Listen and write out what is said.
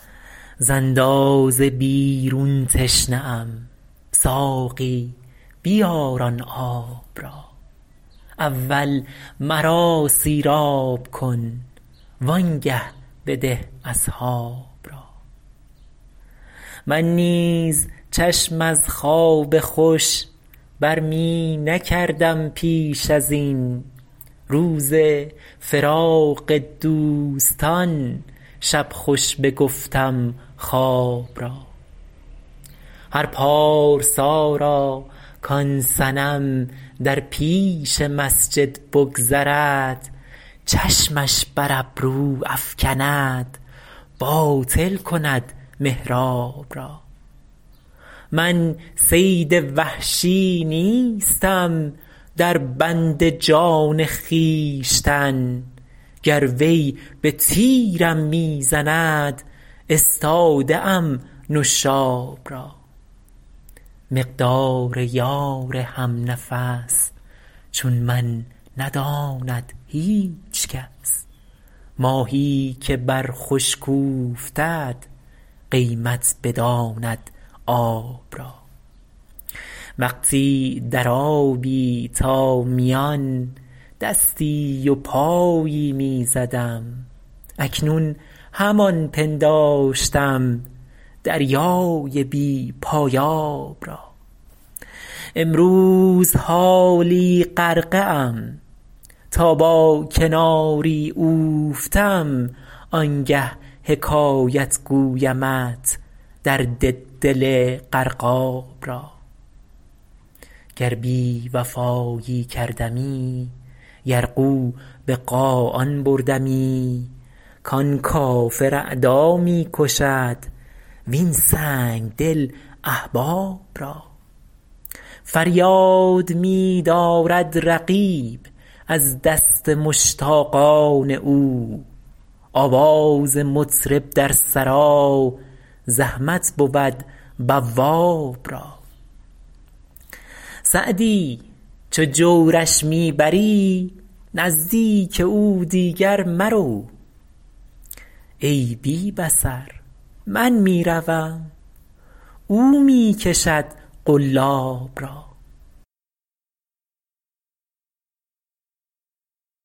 ز اندازه بیرون تشنه ام ساقی بیار آن آب را اول مرا سیراب کن وآنگه بده اصحاب را من نیز چشم از خواب خوش بر می نکردم پیش از این روز فراق دوستان شب خوش بگفتم خواب را هر پارسا را کآن صنم در پیش مسجد بگذرد چشمش بر ابرو افکند باطل کند محراب را من صید وحشی نیستم در بند جان خویشتن گر وی به تیرم می زند استاده ام نشاب را مقدار یار هم نفس چون من نداند هیچ کس ماهی که بر خشک اوفتد قیمت بداند آب را وقتی در آبی تا میان دستی و پایی می زدم اکنون همان پنداشتم دریای بی پایاب را امروز حالا غرقه ام تا با کناری اوفتم آنگه حکایت گویمت درد دل غرقاب را گر بی وفایی کردمی یرغو به قاآن بردمی کآن کافر اعدا می کشد وین سنگدل احباب را فریاد می دارد رقیب از دست مشتاقان او آواز مطرب در سرا زحمت بود بواب را سعدی چو جورش می بری نزدیک او دیگر مرو ای بی بصر من می روم او می کشد قلاب را